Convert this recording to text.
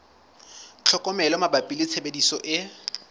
tlhokomelo mabapi le tshebediso e